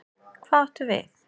Hvað áttu við?